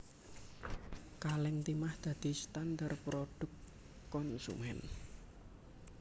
Kalèng timah dadi standar prodhuk konsumén